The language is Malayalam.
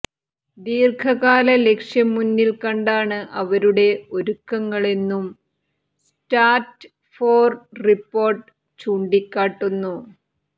ദീര്ഘകാല ലക്ഷ്യം മുന്നില്ക്കണ്ടാണ് അവരുടെ ഒരുക്കങ്ങളെന്നും സ്ട്രാറ്റ്ഫോര് റിപ്പോര്ട്ട് ചൂണ്ടിക്കാട്ടുന്നു